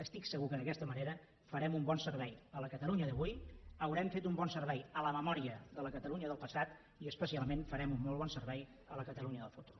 estic segur que d’aquesta manera farem un bon servei a la catalunya d’avui haurem fet un bon servei a la memòria de la catalunya del passat i especialment farem un molt bon servei a la catalunya del futur